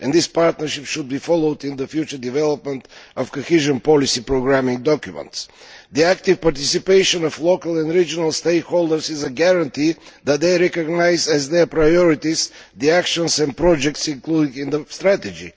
This partnership should be followed up in the future development of cohesion policy programming documents. The active participation of local and regional stakeholders is a guarantee that they recognise as their priorities the actions and projects included in the strategy.